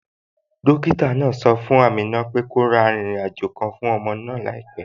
Dókítà náà sọ fún Amina pé kó ra arìnrìn àjò kan fún ọmọ òun láìpẹ